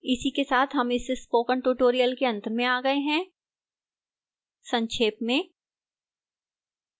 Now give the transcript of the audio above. इसी के साथ हम इस spoken tutorial के अंत में आ गए हैं संक्षेप में